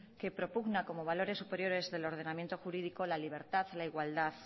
que propugna como valores superiores del ordenamiento jurídico la libertad la igualdad